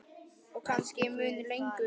Og kannski mun lengur.